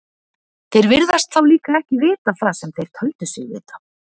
Þeir virðast þá líka ekki vita það sem þeir töldu sig vita.